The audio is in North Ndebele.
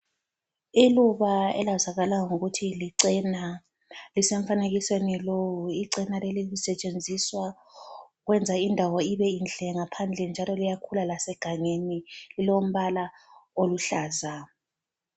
Iluba elazakala ngokuthi licena lisemfanekiseni lowu. Icena leli lisetshenziswa ukwenza indawo ibe inhle ngaphandle njalo liyakhula lasegangeni lilombala oluhlaza.